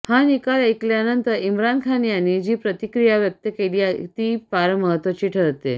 हा निकाल ऐकल्यानंतर इम्रान खान यांनी जी प्रतिक्रिया व्यक्त केली ती फार महत्त्वाची ठरते